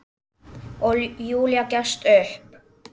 Og Júlía gefst upp.